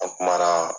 An kumana